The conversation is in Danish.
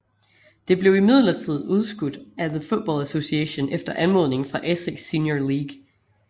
Det blev imidlertid udskudt af The Football Association efter anmodning fra Essex Senior League